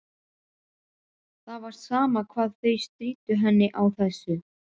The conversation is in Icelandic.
Það var sama hvað þau stríddu henni á þessu.